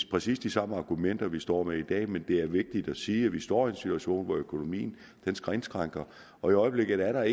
præcis de samme argumenter vi står med i dag men det er vigtigt at sige at vi står i en situation hvor økonomien indskrænkes og i øjeblikket er